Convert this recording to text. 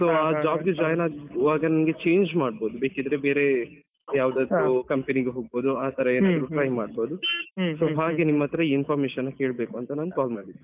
So job ಗೆ join ಆಗುವಾಗ ನಂಗೆ change ಮಾಡ್ಬೋದು ಬೇಕಿದ್ರೆ ಬೇರೆ ಯಾವದಾದ್ರುcampany ಗೆ ಹೋಗ್ಬೋದು ಆ ತರ ಎನಾದ್ರೂ try ಮಾಡ್ಬೋದು so ಹಾಗೆ ನಿಮ್ಮತ್ರ information ಕೇಳ್ಬೇಕು ಅಂತ call ಮಾಡಿದ್ದು.